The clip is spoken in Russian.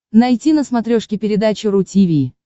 найти на смотрешке передачу ру ти ви